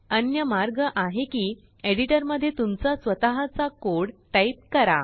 अन्य मार्ग आहे कि एडिटरमध्येतुमचा स्वतःचा कोड टाईप करा